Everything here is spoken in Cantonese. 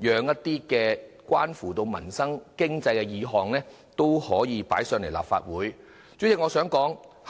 讓其他關乎民生經濟的議案得以提交立法會審議。